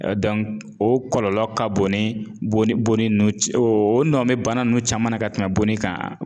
o kɔlɔlɔ ka bon ni bonni ninnu ye o nɔ be bana ninnu caman na ka tɛmɛ bonni kan